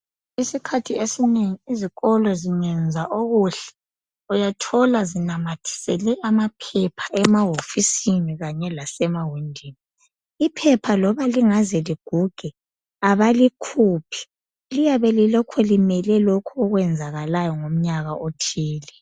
Isikhathi esinengi izikolo zingenza okuhle uyathola zinamathisele amaphepha emahofisini kanye lasema windini iphepha loba lingaze liguge abalikhuphi liyabe lilokhu limele lokhu okwenzakalayo ngomnyaka othile